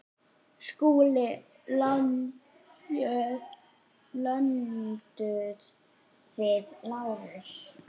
SKÚLI: Lömduð þið Lárus?